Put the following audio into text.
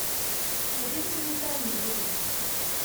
найди документальные фильмы